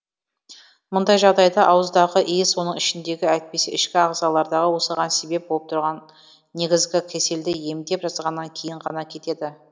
мұндай жағдайда ауыздағы иіс оның ішіндегі әйтпесе ішкі ағзалардағы осыған себеп болып тұрған негізгі кеселді емдеп жазғаннан кейін ғана кетеді